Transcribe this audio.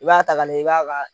I b'a ta ka na i b'a ka